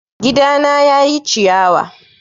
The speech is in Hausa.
Gidana ya ƴi ciyawa